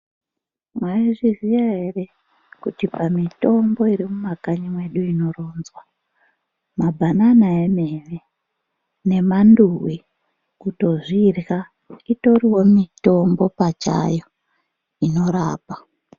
Maizviziya ere kuti pamitombo iri mumakanyi medu munomu inoronzwa mabhanana emene nemanduwi kutozvirya itoriwo mitombo pachayo inorapa.